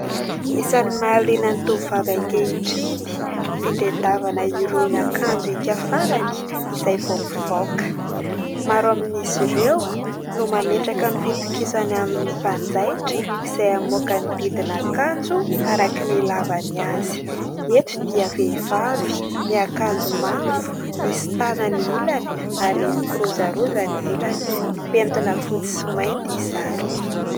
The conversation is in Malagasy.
Isany mahaliana ny tovovavy ankehitriny ny fitadiavana irony akanjo hika-farany izay vao mivoaka. Maro amin'izy ireo no mametraka ny fitokisany amin'ny mpanjaitra izay hamoaka ny didin' akanjo araka ny ilàvany azy. Eto dia vehivavy miakanjo mavo misy tanany ilany ary mikirozaroza ny ilany mipentina fotsy sy mainty izany.